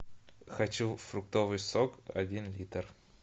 хочу фруктовый сок один литр